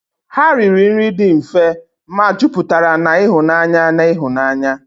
Ha riri nri dị mfe, ma juputara na ịhụnanya na ịhụnanya.